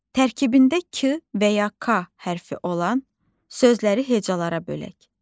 Tərkibində k və ya k hərfi olan sözləri hecalara bölək.